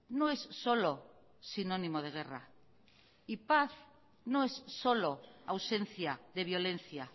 no es solo sinónimo de guerra y paz no es solo ausencia de violencia